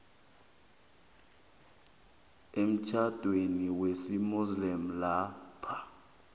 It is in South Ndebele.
emtjhadweni wesimuslimu lapha